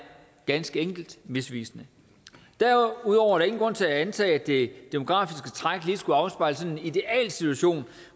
ganske enkelt misvisende derudover ingen grund til at antage at det demografiske træk lige skulle afspejle en idealsituation